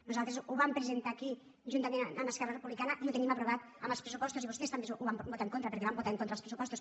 nosaltres ho vam presentar aquí juntament amb esquerra republicana i ho tenim aprovat amb els pressupostos i vostès també ho van votar en contra perquè van votar en contra dels pressupostos